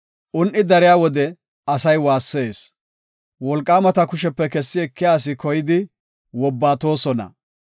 “Un77i dariya wode asay waassees; wolqaamata kushepe kessi ekiya asi koyidi wobbatoosona.